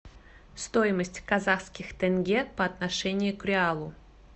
стоимость казахских тенге по отношению к реалу